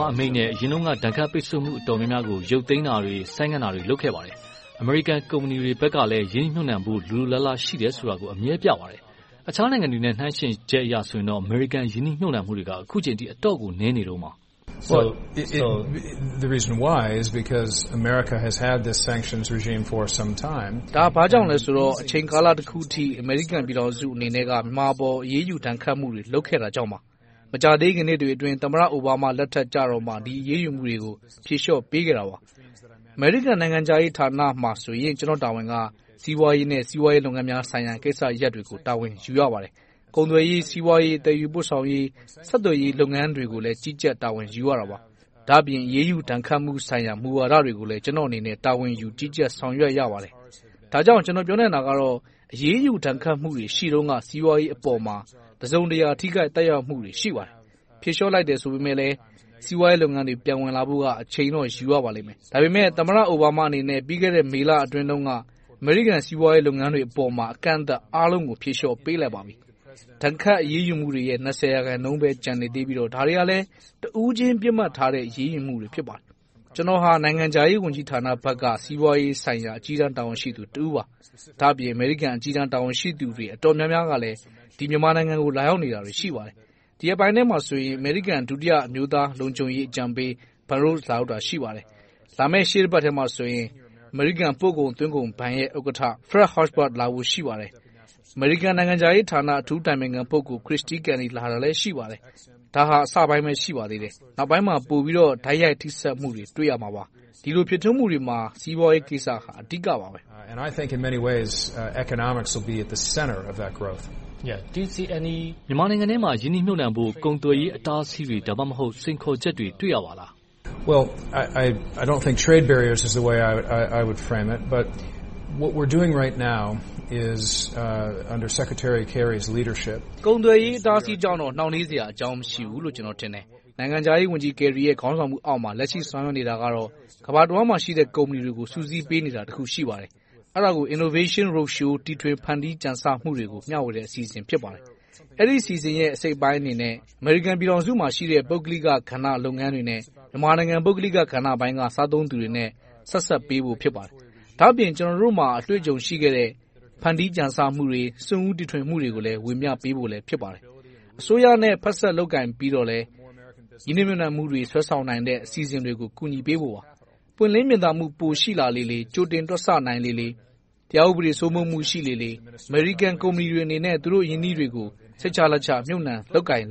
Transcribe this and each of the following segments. မားအမိန့်နဲ့ အရင်တုန်းက ဒဏ်ခတ်ပိတ်စို့မှုတွေကို ရုတ်သိမ်းတာတွေ၊ ဆိုင်းငံ့တာတွေ လုပ်ခဲ့ပါတယ်။ အမေရိကန်ကုမ္ပဏီတွေဘက်ကလည်း ရင်းနှီးမြှုပ်နံှမှု လိုလိုလားလား ရှိတယ်ဆိုတာကိုလည်း အမြဲပြပါတယ်။ အခြားနိုင်ငံတွေနဲ့ နှိုင်းယှဉ်ချက်အရဆိုရင်တော့ အမေရိကန်ရင်းနှီးမြှုပ်နံှမှုတွေက အတော့်ကို နည်းနေတုန်းပါ။ ဒါ ဘာကြောင့်လဲဆိုတော့ အချိန်ကာလတခုအနေနဲ့ အမေရိကန်ပြည်ထောင်စုရဲ့ မြန်မာအပေါ် အရေးယူဒဏ်ခတ်မှုတွေ လုပ်ခဲ့တာကြောင့်ပါ။ မကြာသေးခင်နှစ်တွေအတွင်း သမ္မတအိုဘားမားလက်ထက်ကြမှ ဒီအရေးယူမှုတွေကို ဖြေလျှော့ပေးခဲ့တာပါ။ အမေရိကန်နိုင်ငံခြားရေးဝန်ကြီးဌာနမှာဆိုရင် ကျနော့်တာဝန်က စီးပွားရေးနဲ့ စီးပွားရေးလုပ်ငန်းဆိုင်ရာ ကိစ္စရပ်တွေကို တာဝန်ယူရပါတယ်။ ကုန်သွယ်ရေး၊ စီးပွားရေး၊ သယ်ယူပို့ဆောင်ရေး၊ ဆက်သွယ်ရေးလုပ်ငန်းတွေကိုလည်း ကြီးကြပ်တာဝန်ယူရတာပါ။ ဒါ့အပြင် အရေးယူဒဏ်ခတ်မူဝါဒဆိုင်ရာတွေကိုလည်း ကျနော့်အနေနဲ့ တာဝန်ယူကြီးကြပ်ဆောင်ရွက်ရပါတယ်။ ဒါကြောင့် ကျနော် ပြောနိုင်တာကတော့ အရေးယူဒဏ်ခတ်မှုတွေ ရှိတုန်းက စီးပွားရေးအပေါ်မှာ တစုံတရာထိခိုက်သက်ရောက်မှုတွေ ရှိပါတယ်။ ဖြေလျှော့လိုက်တယ်ဆိုပေမယ့် စီးပွားရေးလုပ်ငန်းတွေ ပြန်ဝင်လာဖို့က အချိန်အနည်းငယ်တော့ ယူရပါလိမ့်မယ်။ ဒါပေမဲ့ သမ္မတအိုဘားမားအနေနဲ့ ပြီးခဲ့တဲ့ မေလတုန်းက အမေရိကန်စီးပွားရေးလုပ်ငန်းတွေအပေါ်မှာ အကန့်အသတ်အားလုံးကို ဖြေလျှော့ပေးလိုက်ပါပြီ။ ဒဏ်ခတ်အရေးယူမှုတွေရဲ့ ရာခိုင်နှုန်းပဲ ကျန်နေသေးပြီးတော့ ဒါတွေကလဲ တဦးချင်းပစ်မှတ်ထားတဲ့ အရေးယူမှုတွေ ဖြစ်ပါတယ်။ ကျနော်က နိုင်ငံခြားရေးဝန်ကြီးဌာနဘက်က စီးပွားရေးဆိုင်ရာ အကြီးတန်းတာဝန်ရှိသူတဦးပါ။ ဒါ့အပြင် အမေရိကန်အကြီးတန်းတာဝန်ရှိသူတွေ အတော်များများကလည်း မြန်မာနိုင်ငံကို လာရောက်နေတာတွေ ရှိပါတယ်။ ဒီရက်ပိုင်းအတွင်းမှာဆိုရင် အမေရိကန် ဒုတိယ အမျိုးသားလုံခြုံရေးအကြံပေး လာရောက်တာ ရှိပါတယ်။ လာမယ့်ရှေ့တပတ်ထဲမှာဆိုရင် အမေရိကန် ပို့ကုန်သွင်းကုန်ဘဏ် ဥက္ကဋ္ဌ… လာဖို့ ရှိပါတယ်။ အမေရိကန်နိုင်ငံ အထူးအကြံပေးပုဂ…. လာတာလည်း ရှိပါတယ်။ ဒါဟာ အစပိုင်းပဲ ရှိပါသေးတယ်။ နောက်ပိုင်းမှာ ပိုပြီးတော့ တိုက်ရိုက်ထိစပ်မှုတွေ ပိုတွေ့ရမှာပါ။ ဒီလို ဖြစ်ထွန်းမှုတွေမှာ စီးပွားရေးကိစ္စဟာ အဓိကပါ။ မြန်မာနိုင်ငံထဲမှာ ရင်းနှီးမြှုပ်နံှဖို့ ကုန်သွယ်ရေးအတားအဆီးတွေ၊ ဒါမှမဟုတ် စိန်ခေါ်ချက်တွေ တွေ့ရပါလား။ ကုန်သွယ်ရေး အတားအဆီးကြောင့်လို့ နောင့်နှေးစရာအကြောင်း မရှိဘူးလို့ ကျနော် ထင်တယ်။ နိုင်ငံခြားရေးဝန်ကြီး Kerry ရဲ့အောက်မှာ လက်ရှိ ဆောင်ရွက်နေတာကတော့ ကမ္ဘာတဝှမ်းမှာရှိတဲ့ ကုမ္ပဏီတွေကို စုစည်းပေးနေတာ တစ်ခု ရှိပါတယ်။ အဲဒါကို Innovation Roadshow တီထွင်ဖန်တီးကြံဆမှုတွေကို မျှဝေတဲ့ အစီအစဉ် ဖြစ်ပါတယ်။ အဲဒီ အစီအစဉ်ရဲ့ အစိတ်အပိုင်းအနေနဲ့ အမေရိကန်မှာရှိတဲ့ ပုဂ္ဂလိက အခန်းကဏ္ဍလုပ်ငန်းတွေနဲ့ မြန်မာနိုင်ငံ ပုဂ္ဂလိကပိုင်းက စားသုံးသူတွေနဲ့ ဆက်စပ်ပေးဖို့ ဖြစ်ပါတယ်။ ဒါ့အပြင် ကျနော်တို့မှာ အတွေ့အကြုံရှိခဲ့တဲ့ ဖန်တီးကြံဆမှုတွေ၊ စွန့်ဦးတီထွင်မှုတွေကလည်း ဝေမျှပေးဖို့ ဖြစ်ပါတယ်။ အစိုးရနဲ့ ဖက်စပ်လုပ်ကိုင်ပြီးတော့လည်း ရင်းနှီးမြှုပ်နံှမှုတွေ ဆွဲဆောင်နိုင်တဲ့ အစီအစဉ်တွေကို ကူညီပေးဖို့ပါ။ ပွင့်လင်းမြင်သာမှု ပိုရှိလာလေလေ၊ ကြိုတင်တွက်ဆနိုင်လေလေ။ တရားဥပဒေစိုးမိုးမှု ရှိလာလေလေ၊ အမေရိကန်ကုမ္ပဏီတွေအနေနဲ့ သူတို့ အရင်းအနှီးတွေကို စိတ်ချလက်ချ မြုပ်နံှ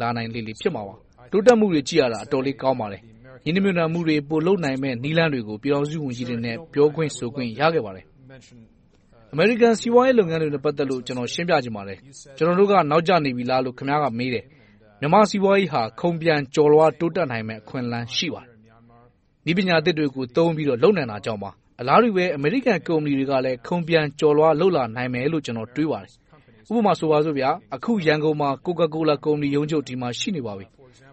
လာလေလေ ဖြစ်မှာပါ။ တိုးတက်မှုတွေ ကြည့်ရတာ အတော်လေး ကောင်းပါတယ်။ ရင်းနှီးမြှုပ်နံှမှုတွေ ပိုလုပ်နိုင်မယ့် နည်းလမ်းတွေကို ပြည်ထောင်စုဝန်ကြီးတွေနဲ့ ပြောခွင့်ဆိုခွင့် ရခဲ့ပါတယ်။ အမေရိကန် စီးပွားရေးလုပ်ငန်းတွေနဲ့ ပတ်သက်လို့ ကျနော် ရှင်းပြချင်ပါတယ်။ ကျနော်တို့က နောက်ကျနေပြီလားလို့ ခင်များက မေးတယ်။ မြန်မာ့စီးပွားရေးဟာ ခုန်ပျံကျော်လွှာ တိုးတက်နိုင်မယ့် အခွင့်အလမ်း ရှိပါတယ်။ နည်းပညာသစ်တွေကို သုံးပြီးတော့ လုပ်နိုင်တာကြောင့်ပါ။ အလားတူပဲ အမေရိကန်ကုမ္ပဏီတွေကလည်း ခုန်ပျံကျော်လွှာ လုပ်လာနိုင်မယ်လို့ ကျနော် တွေးပါတယ်။ ဥပမာဆိုပါစို့ အခု ရန်ကုန်မှာ ကိုကာကိုလာ ရုံးချုပ် ဒီမှာ ရှိနေပါပြီ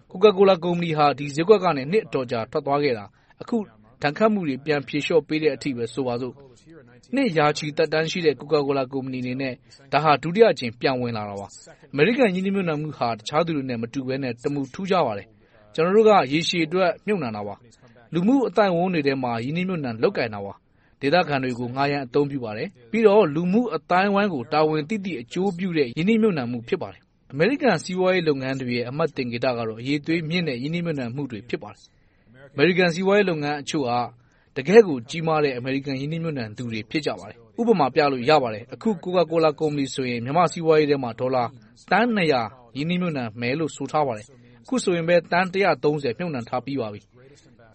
။ ကိုကာကိုလာ ကုမ္ပဏီဟာ ဒီဈေးကွက်ကနေ နှစ်အတော်ကြာ ထွက်သွားခဲ့တာ အခု ဒဏ်ခတ်မှုတွေ ပြန်ဖြေလျှော့ပေးတဲ့အချိန်အထိ ဆိုပါစို့။ နှစ်ရာရှိ သက်တမ်းရှိတဲ့ ကိုကာကိုလာ ကုမ္ပဏီအနေနဲ့ ဒါဟာ ဒုတိယအကြိမ် ပြန်ဝင်လာတာပါ။ အမေရိကန် ရင်းနှီးမှုဟာ တခြားသူတွေနဲ့ မတူဘဲနဲ့ တမူထူးခြားပါတယ်။ ကျနော်တို့က ရေရှည်အတွက် မြှုပ်နံှတာပါ။ လူမှု့အသိုက်အဝန်းတွေထဲမှာ ရင်းနှီးမြှုပ်နံှ လုပ်ကိုင်တာပါ။ ဒေသခံတွေကို ငှားရမ်းအသုံးပြုပါတယ်။ ပြီးတော့ လူမှုအသိုင်းအဝိုင်းကို တာဝန်သိသိ အကျိုးပြုတဲ့ ရင်းနှီးမြှုပ်နံှမှု ဖြစ်ပါတယ်။ အမေရိကန်စီးပွားရေး လုပ်ငန်းတွေရဲ့ အမှတ်သင်္ကေတက အရည်အသွေးမြင့်တဲ့ ရင်းနှီးမြှုပ်နံှမှုတွေ ဖြစ်ပါတယ်။ အမေရိကန်စီးပွားရေး လုပ်ငန်းတချို့က တကယ့်ကို ကြီးမားတဲ့ အမေရိကန် ရင်းနှီးမြှုပ်နံှသူတွေ ဖြစ်ကြပါတယ်။ ဥပမာပြလို့ ရပါတယ်။ အခု ကိုကာကိုလာ ကုမ္ပဏီဆိုရင် မြန်မာ့စီးပွားရေးထဲမှာ ဒေါ်လာ သန်း ရင်းနှီးမြှုပ်နံှမယ်လို့ ဆိုထားပါတယ်။ အခုဆိုရင်ပဲ သန်း ရင်းနှီးမြှုပ်နံှထားပြီးပါပြီ။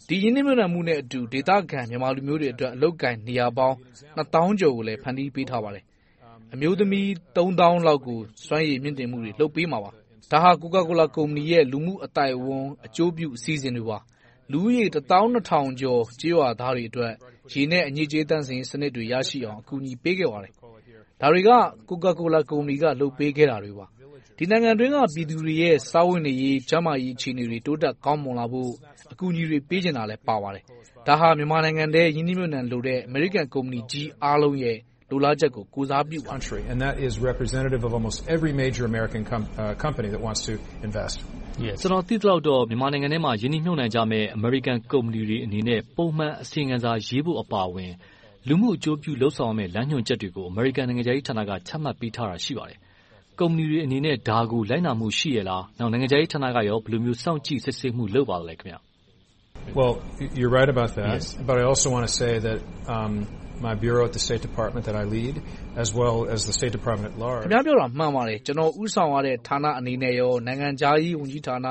ဒီရင်းနှီးမြှုပ်နံှမှုနဲ့အတူ ဒေသခံ မြန်မာလူမျိုးတွေအတွက် အလုပ်အကိုင် နေရာပေါင်း နှစ်သောင်းကျော်ကိုလည်း ဖန်တီးထားပါတယ်။ အမျိုးသမီး သုံးသောင်းလောက်ကို စွမ်းရည်မြှင့်တင်မှုတွေ လုပ်ပေးမှာပါ။ ဒါဟာ ကိုကာကိုလာ ကုမ္ပဏီရဲ့ လူမှုအသိုက်အဝန်းအကျိုးပြု အစီအစဉ်တွေပါ။ လူဦးရေ တစ်သောင်းနှစ်ထောင်ကျော် ကျေးရွာသားတွေအတွက် ရေနဲ့အညစ်အကြေးသန့်စင်ရေးစနစ်တွေ ရရှိအောင် ကူညီပေးခဲ့ပါတယ်။ ဒါတွေက ကိုကာကိုလာ ကုမ္ပဏီက လုပ်ပေးခဲ့တာတွေပါ။ ဒီနိုင်ငံအတွင်းက ပြည်သူတွေရဲ့ စားဝတ်နေရေး၊ ကျန်းမာရေး အခြေအနေတွေ တိုးတက်ကောင်းမွန်လာဖို့ အကူအညီတွေ ပေးချင်တာလည်း ပါဝင်ပါတယ်။ ဒါဟာ မြန်မာနိုင်ငံအတွင်း ရင်းနှီးမြှုပ်နံှလိုတဲ့ အမေရိကန်ကုမ္ပကြီးအားလုံးရဲ့ လိုလားချက်ကို ကိုယ်စားပြုပါတယ်။ ကျနော် သိသလောက်တော့ မြန်မာနိုင်ငံအတွင်းမှာ ရင်းနှီးမြှုပ်နံှကြမယ့် အမေရိကန်ကုမ္ပဏီတွေအနေနဲ့ ပုံမှန်အစီရင်ခံစာရေးဖို့ အပါအဝင် လူမှုအကျိုးပြု လုပ်ဆောင်ရမယ့် လမ်းညွှန်ချက်တွေကို အမေရိကန်နိုင်ငံခြားရေးဝန်ကြီးဌာနက ချမှတ်ပေးထားတာ ရှိပါတယ်။ ကုမ္ပဏီတွေအနေနဲ့ ဒါကို လိုက်နာမှု ရှိရဲ့လား။ နောက် နိုင်ငံခြားရေးဌာနက ဘယ်လိုစောင့်ကြည့်စစ်ဆေးမှု လုပ်ပါလဲ။ ခင်များပြောတာ မှန်ပါတယ်။ ကျနော် ဦးဆောင်ရတဲ့ ဌာနအနေနဲ့ကော၊ နိုင်ငံခြားရေးဝန်ကြီးဌာန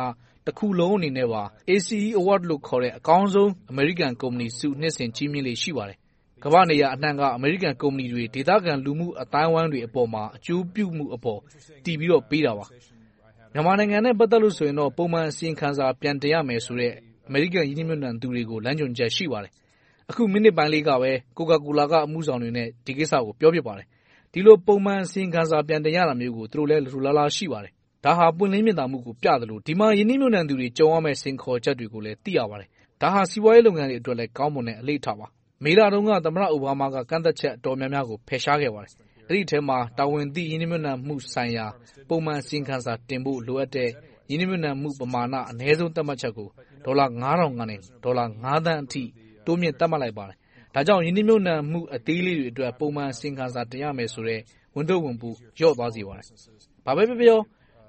တခုလုံးအနေနဲ့ပါ ACE Award လို့ခေါ်တဲ့ အကောင်းဆုံး အမေရိကန်ကုမ္ပဏီဆု နှစ်စဉ် ချီးမြှင့်ပါတယ်။ ကမ္ဘာ့နေရာအနံှက အမေရိကန်ကုမ္ပဏီတွေ ဒေသခံလူမှုအသိုင်းအဝိုင်းတွေအပေါ်မှာ အကျိုးပြုမှုအပေါ် တည်ပြီးတော့ ပေးတာပါ။ မြန်မာနိုင်ငံနဲ့ ပတ်သက်လို့ ပုံမှန်အစီရင်ခံစာ ပြန်တင်ရမယ်ဆိုတဲ့ အမေရိကန် ရင်းနှီးမြှုပ်နံှသူတွေကို လမ်းညွှန်ချက် ရှိပါတယ်။ အခု မိနစ်ပိုင်းလောက်ပဲ ကိုကာကိုလာ က အမှုဆောင်တွေနဲ့ ဒီကိစ္စကို ပြောခဲ့ပါတယ်။ ဒီလို ပုံမှန်အစီရင်ခံစာ ပြန်တင်ရတာမျိုးကို သူတို့လည်း လိုလိုလားလား ရှိပါတယ်။ ဒါဟာ ပွင့်လင်းမြင်သာမှုကို ပြသလို၊ ဒီမှာ ရင်းနှီးမြှုပ်နံှသူတွေ ကြုံရမယ့် စိန်ခေါ်ချက်တွေကိုလည်း သိရပါတယ်။ ဒါဟာ စီးပွားရေးလုပ်ငန်းတွေအတွက်လည်း ကောင်းမွန်တဲ့ အလေ့အထပါ။ မေလတုန်းက သမ္မတအိုဘားမားက ကန့်သတ်ချက် အတော်များများကို ဖယ်ရှားခဲ့ပါတယ်။ အဲဒီအထဲမှာ တာဝန်သိ ရင်းနှီးမြှုပ်နံှမှုဆိုင်ရာ ပုံမှန်အစီရင်ခံစာ တင်ဖို့ လိုအပ်တဲ့ ရင်းနှီးမြှုပ်နံှမှု ပမာဏ အနည်းဆုံး သတ်မှတ်ချက်ကို ဒေါ်လာ ထောင်ကနေ ဒေါ်လာ သန်းအထိ တိုးမြှင့်သတ်မှတ်လိုက်ပါတယ်။ ဒါကြောင့် ရင်းနှီးမြှုပ်နံှမှု အသေးလေးတွေလည်း ပုံမှန်အစီရင်ခံစား တင်ရမယ်ဆိုတဲ့ ဝန်ထုပ်ဝန်ပိုး လျော့သွားစေပါတယ်။ ဘာပဲပြော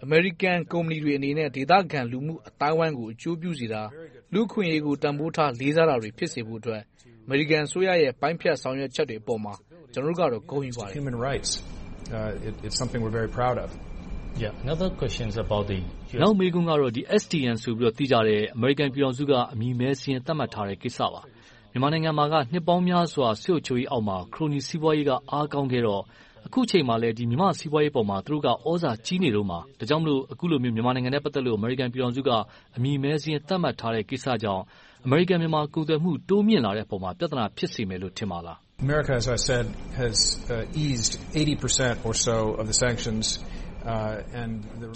ပြေ၈ာ အမေရိကန်ကုမ္ပဏီတွေအနေနဲ့ ဒေသခံလူမှုအသိုင်းအဝိုင်းကို အကျိုးပြုစေတာ လူ့အခွင့်အရေးကို တန်းဖိုးထားစေတာတွေ ဖြစ်စေဖို့အတွက် အမေရိကန်အစိုးရရဲ့ ပိုင်းဖြတ်ဆောင်ရွက်ချက်တွေအပေါ်မှာ ကျနော်တို့ကတော့ ဂုဏ်ယူပါတယ်။ နောက်မေးခွန်းကတော့ STM ဆိုပြီး သိကြတဲ့ အမေရိကန်ပြည်ထောင်စုက အမည်မည်းစာရင်း သတ်မှတ်ထားတဲ့ ကိစ္စပါ။ မြန်မာနိုင်ငံမှာ နှစ်ပေါင်းများစွာ စစ်အုပ်စုအုပ်ချုပ်ရေးအောက်မှာ ခရိုနီစီးပွားရေးက အားကောင်းခဲ့တော့ အခုအချိန်မှာလည်း မြန်မာ့စီးပွားရေးပေါ်မှာ သူတို့က သြဇာကြီးနေတုန်းပါ။ ဒါကြောင့်မို့ အခုလိုမျိုး မြန်မာနိုင်ငံနဲ့ ပတ်သက်လို့ အမေရိကန်ပြည်ထောင်စုက အမည်မည်းစာရင်း သတ်မှတ်ထားတဲ့ ကိစ္စကြောင့် အမေရိကန်မှာ ကုန်သွယ်မှု တိုးမြှင့်လာတဲ့အပေါ်မှာ ပြဿနာ ဖြစ်စေမယ်လို့ ထင်ပါလား။